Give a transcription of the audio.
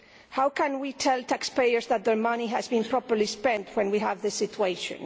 How can we tell taxpayers that their money has been properly spent when we have this situation?